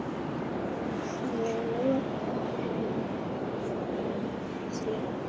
Ég lofaði henni því.